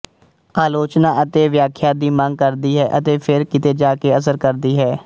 ਆਲੋਚਨਾ ਅਤੇ ਵਿਆਖਿਆ ਦੀ ਮੰਗ ਕਰਦੀ ਹੈ ਅਤੇ ਫਿਰ ਕਿਤੇ ਜਾ ਕੇ ਅਸਰ ਕਰਦੀ ਹੈ